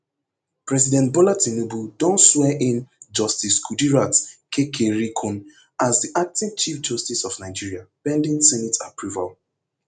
president bola tinubu don swear in justice kudirat kekereekun as di acting chief justice of nigeria pending senate approval